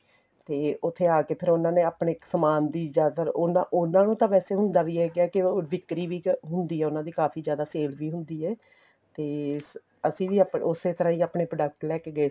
ਤੇ ਉੱਥੇ ਆਕੇ ਫ਼ੇਰ ਉਹਨਾ ਨੇ ਆਪਣੇ ਸਮਾਨ ਦੀ ਜਿਆਦਾਤਰ ਉਹਨਾ ਨੂੰ ਤਾਂ ਵੈਸੇ ਹੁੰਦਾ ਵੀ ਏ ਕਿਉਂਕਿ ਵਿਕਰੀ ਵੀ ਹੁੰਦੀ ਏ ਉਹਨਾ ਦੀ ਕਾਫ਼ੀ ਜਿਆਦਾ sale ਵੀ ਹੁੰਦੀ ਏ ਤੇ ਅਸੀਂ ਵੀ ਉਸੇ ਤਰ੍ਹਾਂ ਆਪਣੇ product ਲੈਕੇ ਗਏ